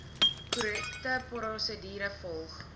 korrekte prosedure volg